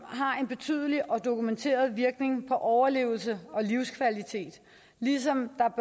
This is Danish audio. har en betydelig og dokumenteret virkning for overlevelse og livskvalitet ligesom der